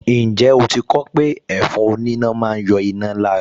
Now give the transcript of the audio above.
Ǹjẹ́ o ti kọ ọ́ pé ẹ̀fọn oníná máa ń yọ iná lára